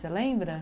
Você lembra?